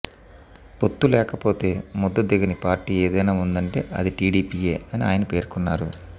పొత్తు లేకపోతే ముద్ద దిగని పార్టీ ఏదైనా ఉందంటే అది టీడీపీయే అని ఆయన పేర్కొన్నారు